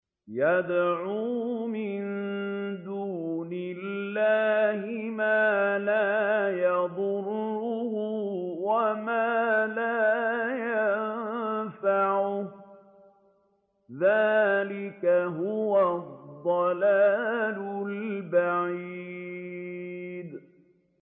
يَدْعُو مِن دُونِ اللَّهِ مَا لَا يَضُرُّهُ وَمَا لَا يَنفَعُهُ ۚ ذَٰلِكَ هُوَ الضَّلَالُ الْبَعِيدُ